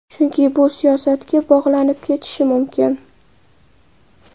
Chunki bu siyosatga bog‘lanib ketishi mumkin.